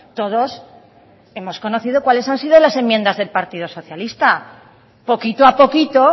todos hemos conocido cuáles han sido las enmiendas del partido socialista poquito a poquito